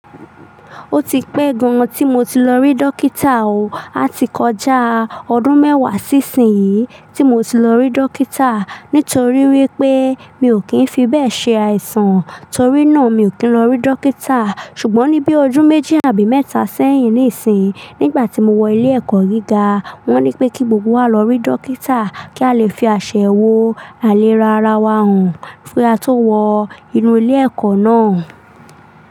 Ó ti pẹ́ gan tí mo ti lọ rí dókítà o. A ti kọjá ọdún mẹ́wàá sí ìsin yìí tí mo ti lọ rí dókítà nítorí wípé mi ò kí ń fi bẹ́ẹ̀ ṣe àìsàn, torí náà mi ò kí ń lọ rí dókítà. Ṣùgbọ́n ní bí ojú méjì àbí mẹ́ta sẹ́yìn níìsín, nígbà tí mo wọ ilé ẹ̀kọ́ gíga, wón ní pé kí gbogbo wa lọ rí dókítà kí a lè fi àṣẹ wo àlè ra ara wa hàn fún kí a tó wọ inú ilé ẹ̀kọ́ náà.